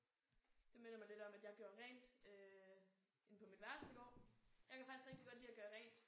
Det minder mig lidt om at jeg gjorde rent øh inde på mit værelse i går. Jeg kan faktisk rigtig godt lide at gøre rent